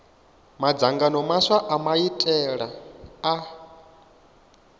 madzangano maswa a maitele a